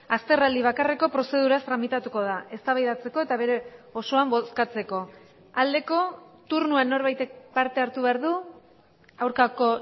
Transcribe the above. azterraldi bakarreko prozeduraz tramitatuko da eztabaidatzeko eta bere osoan bozkatzeko aldeko turnoan norbaitek parte hartu behar du aurkako